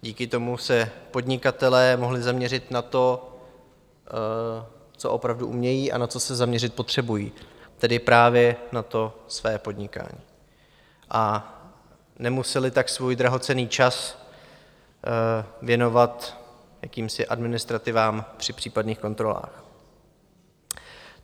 Díky tomu se podnikatelé mohli zaměřit na to, co opravdu umějí a na co se zaměřit potřebují, tedy právě na to své podnikání, a nemuseli tak svůj drahocenný čas věnovat jakýmsi administrativám při případných kontrolách.